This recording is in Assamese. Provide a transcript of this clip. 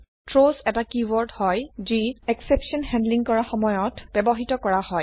থ্ৰাউছ এটা কীওয়াৰ্ড যি এক্সেপশ্যন হেণ্ডলিং কৰাৰ সময়ত ব্যবহৃত কৰা হয়